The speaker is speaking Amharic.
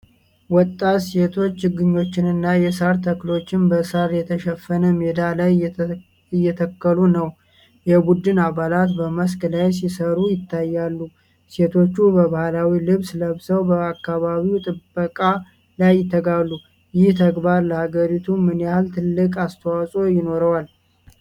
ወጣት ሴቶች ችግኞችንና የሳር ተክሎችን በሳር የተሸፈነ ሜዳ ላይ እየተከሉ ነው። የቡድን አባላት በመስክ ላይ ሲሰሩ ይታያሉ። ሴቶቹ ባህላዊ ልብስ ለብሰው በአካባቢ ጥበቃ ላይ ይተጋሉ፤ ይህ ተግባር ለሃገሪቱ ምን ያህል ትልቅ አስተዋፅኦ ይኖረዋል?